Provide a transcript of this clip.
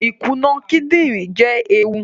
Ikuna kidinrin jẹ eewu